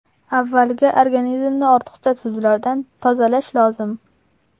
Avvaliga organizmni ortiqcha tuzlardan tozalash lozim.